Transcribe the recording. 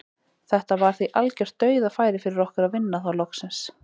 Þetta var því algjört dauðafæri fyrir okkur að vinna þá loksins.